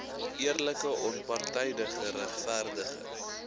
eerlike onpartydige regverdige